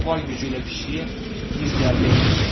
O var gücü ilə pişiyə bir zərbə endirdi.